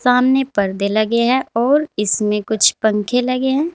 सामने पर्दे लगे हैं और इसमें कुछ पंखे लगे हैं।